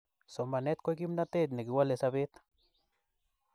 somanet ko kimnatet nekiwale sapet